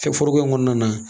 Kɛ foroko in kɔnɔna na